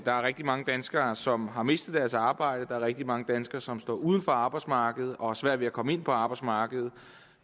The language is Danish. er rigtig mange danskere som har mistet deres arbejde og er rigtig mange danskere som står uden for arbejdsmarkedet og har svært ved at komme ind på arbejdsmarkedet